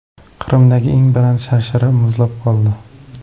Qrimdagi eng baland sharshara muzlab qoldi .